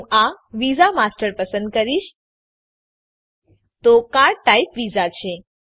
હું આ visa master પસંદ કરીશ તો કાર્ડ ટાઇપ વિઝા છે